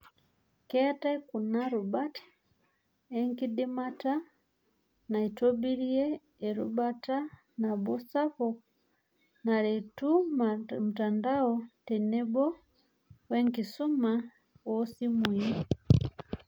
Keeta kuna rubat enkidimata naitobirie erubata nabo sapuk naretu mtandao tenebo we nkisuma oosimui.